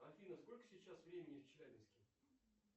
афина сколько сейчас времени в челябинске